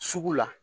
Sugu la